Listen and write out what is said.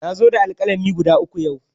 Na zo da alƙalami guda uku yau.